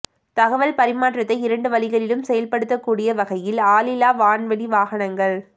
தகவல் பரிமாற்றத்தை இரண்டு வழிகளிலும் செயல்படுத்தக்கூடிய வகையில் ஆளில்லா வான்வழி வாகனங்கள்